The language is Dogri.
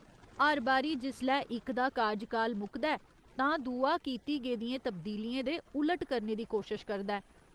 हर बारी जिसलै इक दा कारज काल मुकदा ऐ, तां दूआ कीती गेदियें तब्दीलियें दे उलट करने दी कोशश करदा ऐ।